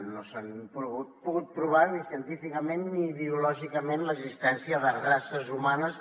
no s’ha pogut provar ni científicament ni biològicament l’existència de races humanes